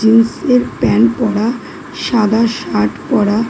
Jeans -এর pant পরা সাদা শার্ট পরা।